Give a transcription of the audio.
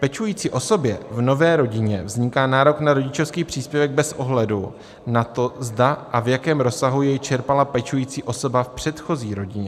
Pečující osobě v nové rodině vzniká nárok na rodičovský příspěvek bez ohledu na to, zda a v jakém rozsahu jej čerpala pečující osoba v předchozí rodině.